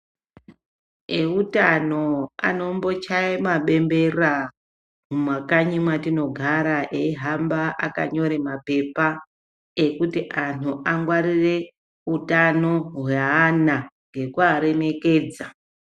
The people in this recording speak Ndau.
Eutano anombochaye mabembera ,mumakanyi mwatinogara, eihamba akanyore maphepha ,ekuti anhu angwarire utano hweana ngekuaremekedza.